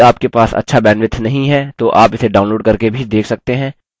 यदि आपके पास अच्छा bandwidth नहीं है तो आप इसे download करके भी देख सकते हैं